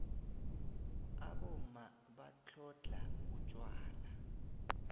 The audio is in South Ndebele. abomma batlhodlha utjwala